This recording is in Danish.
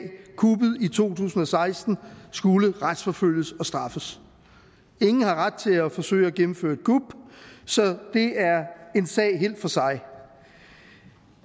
kuppet i to tusind og seksten skulle retsforfølge og straffes ingen har ret til at forsøge at gennemføre et kup så det er en sag helt for sig